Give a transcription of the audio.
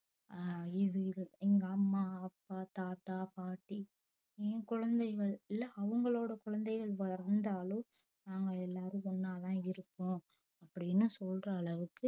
அஹ் இது இது எங்க அம்மா அப்பா தாத்தா பாட்டி என் குழந்தைகள் இல்ல அவுங்களோட குழந்தைகள்னு வந்தாலோ நாங்க எல்லாரும் ஒன்னாதான் இருக்கோ அப்டின்னு சொல்ற அளவுக்கு